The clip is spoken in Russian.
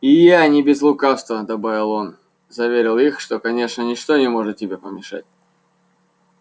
и я не без лукавства добавил он заверил их что конечно ничто не может тебе помешать